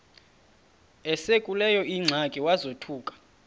esekuleyo ingxaki wazothuka